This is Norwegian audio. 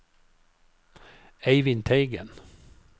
Eivind Teigen